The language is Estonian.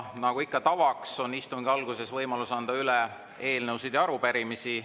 Nagu ikka tavaks, on istungi alguses võimalik anda üle eelnõusid ja arupärimisi.